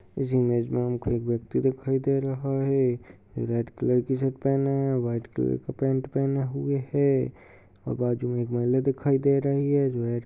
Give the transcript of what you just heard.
इस इमेज में व्यक्ति दिखाई दे रहा है। रेड कलर की टीशर्ट पहनी हुए है। वाइट कलर का पेंट पहेने हुए है बाजु में महिला दिखाई दे रही है।